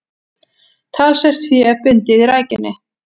Talsvert fé bundið í rækjunni